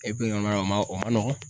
o ma o ma nɔgɔn.